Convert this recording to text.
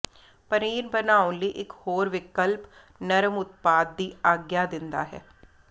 ਪਨੀਰ ਬਣਾਉਣ ਲਈ ਇਕ ਹੋਰ ਵਿਕਲਪ ਨਰਮ ਉਤਪਾਦ ਦੀ ਆਗਿਆ ਦਿੰਦਾ ਹੈ